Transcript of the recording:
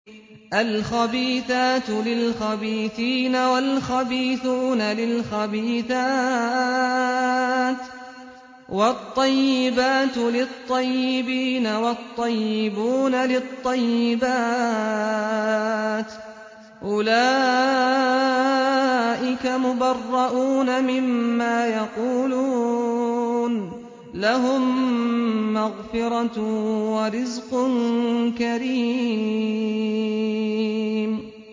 الْخَبِيثَاتُ لِلْخَبِيثِينَ وَالْخَبِيثُونَ لِلْخَبِيثَاتِ ۖ وَالطَّيِّبَاتُ لِلطَّيِّبِينَ وَالطَّيِّبُونَ لِلطَّيِّبَاتِ ۚ أُولَٰئِكَ مُبَرَّءُونَ مِمَّا يَقُولُونَ ۖ لَهُم مَّغْفِرَةٌ وَرِزْقٌ كَرِيمٌ